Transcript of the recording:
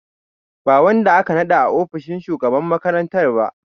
Ba wanda aka naɗa a ofishin shugaban makarantar ba.